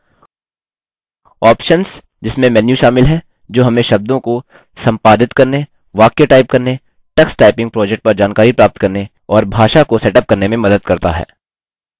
options – जिसमें menu शामिल हैं जो हमें शब्दों को संपादित करने वाक्य टाइप करने टक्स टाइपिंग प्रोजेक्ट पर जानकारी प्राप्त करने और भाषा को सेटअप करने में मदद करता है